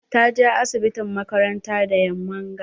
Ta je asibitin makaranta da yamman ga.